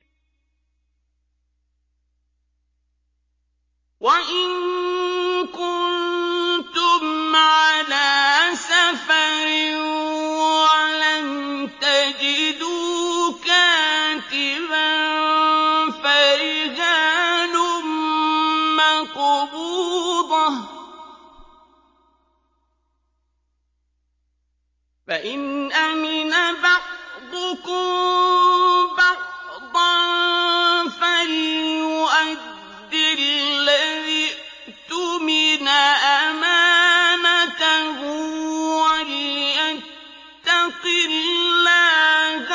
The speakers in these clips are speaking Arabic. ۞ وَإِن كُنتُمْ عَلَىٰ سَفَرٍ وَلَمْ تَجِدُوا كَاتِبًا فَرِهَانٌ مَّقْبُوضَةٌ ۖ فَإِنْ أَمِنَ بَعْضُكُم بَعْضًا فَلْيُؤَدِّ الَّذِي اؤْتُمِنَ أَمَانَتَهُ وَلْيَتَّقِ اللَّهَ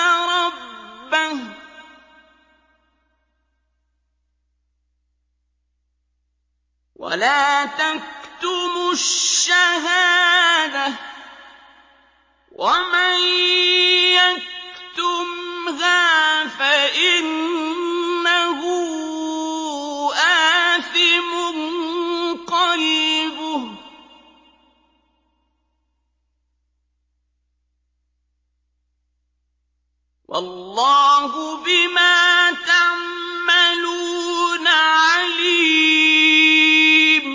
رَبَّهُ ۗ وَلَا تَكْتُمُوا الشَّهَادَةَ ۚ وَمَن يَكْتُمْهَا فَإِنَّهُ آثِمٌ قَلْبُهُ ۗ وَاللَّهُ بِمَا تَعْمَلُونَ عَلِيمٌ